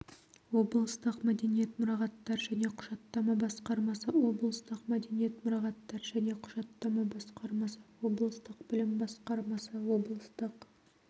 облыстық мәдениет мұрағаттар және құжаттама басқармасы облыстық мәдениет мұрағаттар және құжаттама басқармасы облыстық білім басқармасы облыстық